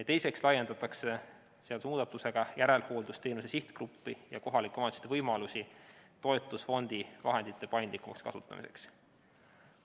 Teiseks laiendatakse seadusemuudatusega järelhooldusteenuse sihtgruppi ja kohalike omavalitsuste võimalusi toetusfondi vahendite paindlikumaks kasutamiseks.